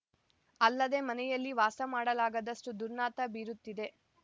ಅಲ್ಲದೆ ಮನೆಯಲ್ಲಿ ವಾಸ ಮಾಡಲಾಗದಷ್ಟು ದುರ್ನಾತ ಬೀರುತ್ತಿದೆ